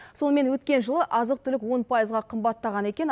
сонымен өткен жылы азық түлік он пайызға қымбаттаған екен